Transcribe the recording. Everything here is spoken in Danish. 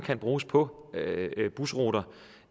bruges på busruter